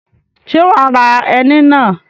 Ṣé wà á ra ẹni náà